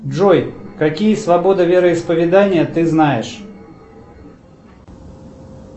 джой какие свободы вероисповедания ты знаешь